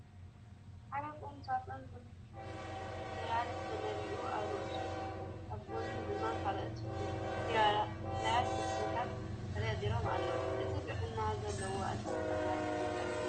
ሓደ ቁም ሳጥን ብፋይላት ተመሊኡ ኣብ ርእሱን ኣብ ጐኒን ድማ ካልኦት ፋይላትን ዶክመንታትን ተደርዲሮም ኣለዉ፡፡ እዚ ጥዕና ዘለዎ ኣተሓሕዛ ሰነዳት ድዩ?